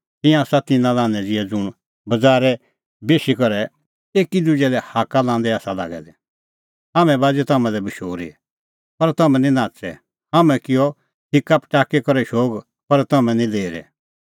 तिंयां आसा तिन्नां लान्हैं ज़िहै ज़ुंण बज़ारै बेशी करै एकी दुजै लै हाक्का लांदै आसा लागै दै हाम्हैं बाज़ी तम्हां लै बशूरी पर तम्हैं निं नाच़ै हाम्हैं किअ हिक्का पटाकी शोग पर तम्हैं निं लेरै